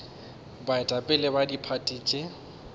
baetapele ba diphathi tše di